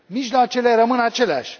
Mijloacele rămân aceleași.